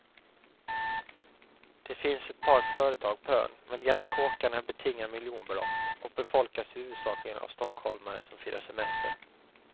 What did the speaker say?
Det finns ett par företag på ön, men de gamla kåkarna betingar miljonbelopp och befolkas huvudsakligen av stockholmare som firar semester.